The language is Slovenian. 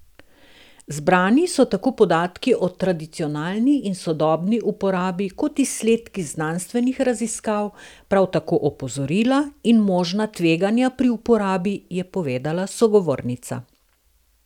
Zbrani so tako podatki o tradicionalni in sodobni uporabi kot izsledki znanstvenih raziskav, prav tako opozorila in možna tveganja pri uporabi, je povedala sogovornica.